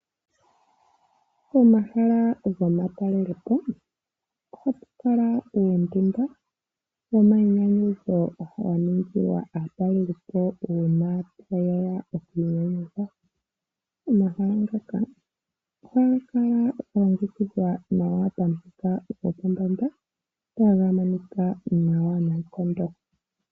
Pomahala gomatalelepo ohapu kala uundunda womayinyanyudho wa ningilwa aatalelipo uuna taye ya oku inyanyudha. Omahala ngoka ohaga kala ga longekidhwa nawa pamuthika gopombanda taga monika nawa noonkondo.